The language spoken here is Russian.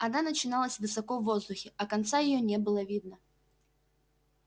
она начиналась высоко в воздухе а конца её не было видно